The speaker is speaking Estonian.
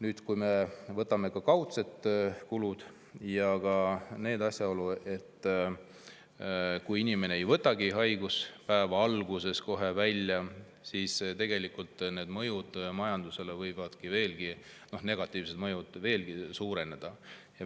Aga võtame arvesse ka kaudsed kulud ja asjaolu, et kui inimene ei võta kohe alguses haiguspäeva, siis tegelikult võivad negatiivsed mõjud majandusele veelgi suureneda.